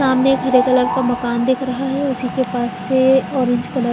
सामने एक हरे कलर का मकान दिख रहा है उसी के पास से ऑरेंज कलर --